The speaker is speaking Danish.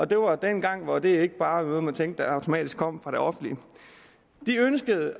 det var dengang hvor det ikke bare var man tænkte automatisk kom fra det offentlige de ønskede